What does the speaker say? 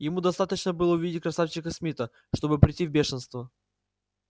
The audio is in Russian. ему достаточно было увидеть красавчика смита чтобы прийти в бешенство